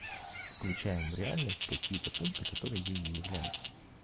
включаем в реальность какие-то пункты которые ей не являются